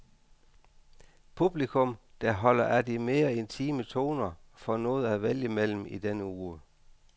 Publikum, der holder af de mere intime toner, får noget at vælge mellem i denne uge.